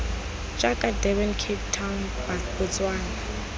jaaka durban cape town botswana